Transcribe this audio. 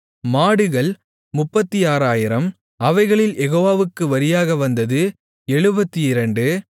மாடுகள் 36000 அவைகளில் யெகோவாவுக்கு வரியாக வந்தது 72